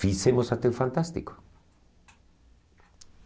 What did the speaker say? Fizemos até o Fantástico.